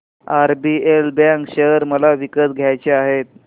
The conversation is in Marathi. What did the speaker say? आरबीएल बँक शेअर मला विकत घ्यायचे आहेत